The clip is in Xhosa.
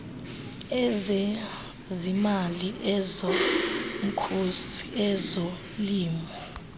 ezezimali ezomkhosi ezolimo